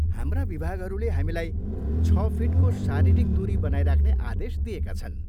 हाम्रा विभागहरूले हामीलाई छ फिटको शारीरिक दुरी बनाइराख्ने आदेश दिएका छन्।